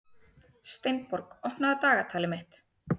Steinborg, opnaðu dagatalið mitt.